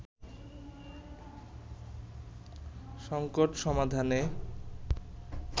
সঙ্কট সমাধানে